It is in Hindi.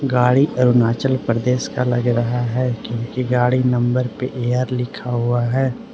गाड़ी अरुणाचल प्रदेश का लग रहा है क्योंकि गाड़ी नंबर पे ए_आर लिखा हुआ है।